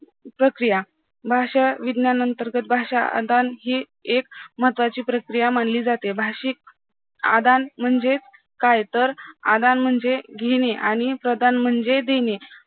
प्रक्रिया, भाषा विज्ञानांतर्गत भाषा हि एक महत्वाची प्रक्रिया जाते, भाषिक आदान म्हणजे काय तर आदान म्हणजे घेणे आणि प्रदान म्हणजे देणे